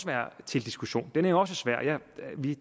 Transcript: være til diskussion den opdeling er også svær